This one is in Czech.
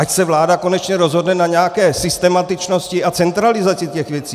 Ať se vláda konečně rozhodne na nějaké systematičnosti a centralizaci těchto věcí.